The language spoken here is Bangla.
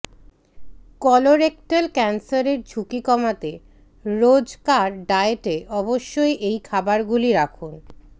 কলোরেক্টাল ক্যানসারের ঝুঁকি কমাতে রোজকার ডায়েটে অবশ্যই এই খাবারগুলি রাখুন